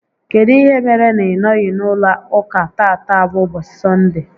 Kedụ ihe mere na ị nọghị n'ụlọ ụka tata bụ ụbọchị Sọnde?